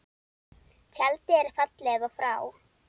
Tjaldið er fallið og frá.